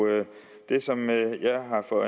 det som jeg er